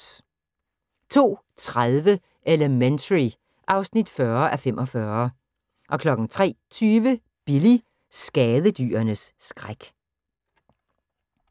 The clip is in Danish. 02:30: Elementary (40:45) 03:20: Billy – skadedyrenes skræk